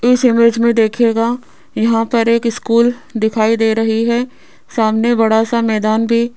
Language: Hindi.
इस इमेज में देखिएगा यहां पर एक स्कूल दिखाई दे रही है सामने बड़ा सा मैदान भी--